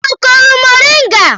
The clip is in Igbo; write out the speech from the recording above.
Ọ kụrụ mọrịnga?